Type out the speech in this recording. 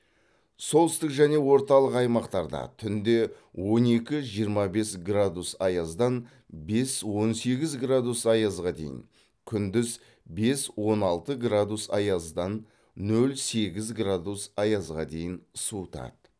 солтүстік және орталық аймақтарда түнде он екі жиырма бес градус аяздан бес он сегіз градус аязға дейін күндіз бес он алты градус аяздан нөл сегіз градус аязға дейін суытады